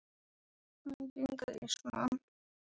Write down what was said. Enginn grís, mann!